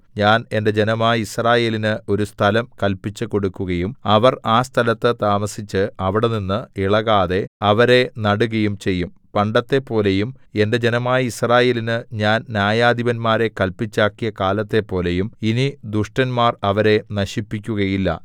ഞാൻ എന്റെ ജനമായ യിസ്രായേലിന് ഒരു സ്ഥലം കല്പിച്ചുകൊടുക്കയും അവർ ആ സ്ഥലത്തു താമസിച്ച് അവിടെനിന്ന് ഇളകാതെ അവരെ നടുകയും ചെയ്യും പണ്ടത്തെപ്പോലെയും എന്റെ ജനമായ യിസ്രായേലിന് ഞാൻ ന്യായാധിപന്മാരെ കല്പിച്ചാക്കിയ കാലത്തെപ്പോലെയും ഇനി ദുഷ്ടന്മാർ അവരെ നശിപ്പിക്കുകയില്ല